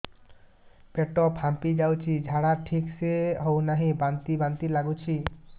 ପେଟ ଫାମ୍ପି ଯାଉଛି ଝାଡା ଠିକ ସେ ହଉନାହିଁ ବାନ୍ତି ବାନ୍ତି ଲଗୁଛି